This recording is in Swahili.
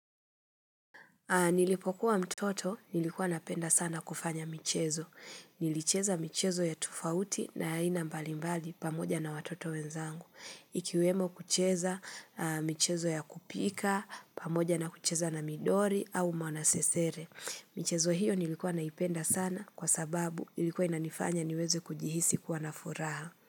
Nilipokuwa mtoto nilikuwa napenda sana kufanya michezo. Nilicheza michezo ya tofauti na aina mbalimbali pamoja na watoto wenzangu. Ikiwemo kucheza michezo ya kupika, pamoja na kucheza na midori au mwanasesere. Michezo hiyo nilikuwa naipenda sana kwa sababu ilikuwa inanifanya niweze kujihisi kuwa na furaha.